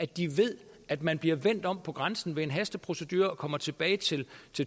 de ved at man bliver vendt om ved grænsen ved en hasteprocedure og kommer tilbage til